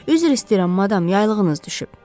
Üzr istəyirəm madam, yaylığınız düşüb.